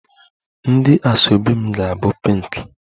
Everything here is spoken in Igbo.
My asoebi ga-pink